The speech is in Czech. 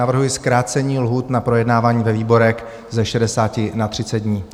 Navrhuji zkrácení lhůt na projednávání ve výborech ze 60 na 30 dní.